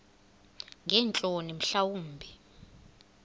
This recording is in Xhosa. ngeentloni mhla wumbi